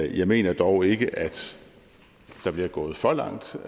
jeg mener dog ikke at der bliver gået for langt